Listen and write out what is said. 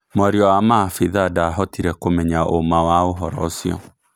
Mũaria wa Maabithaa ndahotirĩ kũmenya ũma wa ũhoro ũcio